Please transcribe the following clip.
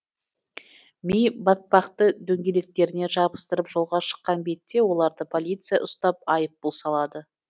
ми батпақты дөңгелектеріне жабыстырып жолға шыққан бетте оларды полиция ұстап айыппұл салады